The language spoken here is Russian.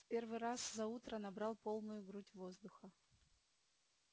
в первый раз за утро набрал полную грудь воздуха